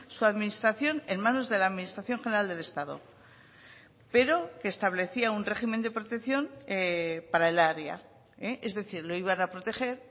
su administración en manos de la administración general del estado pero que establecía un régimen de protección para el área es decir lo iban a proteger